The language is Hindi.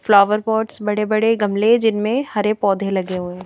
फ्लावर पॉट्स बड़े-बड़े गमले जिनमें हरे पौधे लगे हुए हैं।